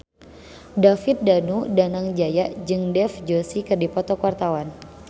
David Danu Danangjaya jeung Dev Joshi keur dipoto ku wartawan